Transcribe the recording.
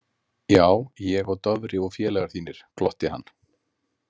Já, ég og Dofri og félagar þínir, glotti hann.